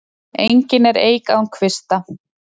Engin er eik án kvista.